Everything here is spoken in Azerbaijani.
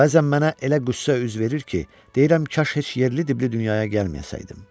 Bəzən mənə elə qüssə üz verir ki, deyirəm kaş heç yerli-diblli dünyaya gəlməyəydim.